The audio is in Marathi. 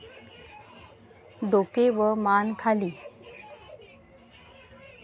डोके व मान खाली.